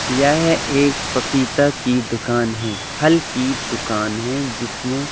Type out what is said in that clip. यह एक पपीता की दुकान है। फल की दुकान है जिसमें--